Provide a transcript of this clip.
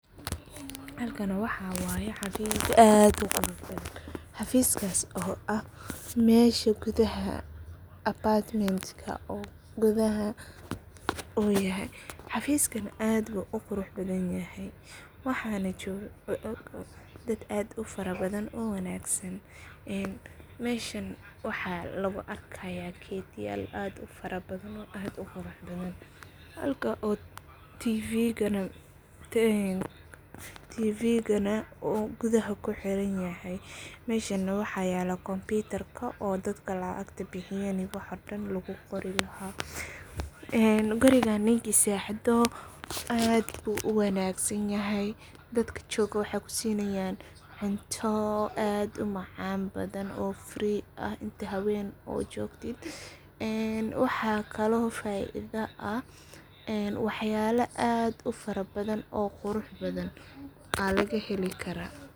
Halkani waxa waye xafis aad uquruxbahan, xafiskas oo ah mesha gudaha apatmentka oo gudaha uyahay, xafiskan aad ayu uqurax badhanyahay, waxanah jogan dad aad ufarabadhan ona wanagsan, meshan waxa lagu arkaya gedyal aad ufarabadhan oo aad uquraxbadhan, halka oo tiviganah uu gudaha kuxiranyahay, meshan nah waxa yala kompitarka oo dadka lacagta bixiyan lagu qori lahay, een gurigan ninki sixdo aad buu uwanag sanyahay, dadki jogo waxay kusinayan cunto aad umacan badhan oo free ah inti hawen aad jogtit, een waxa kale oo faidaa ah waxyala aad ufarabdhan oo quraxbadhan aa lagaheli kara.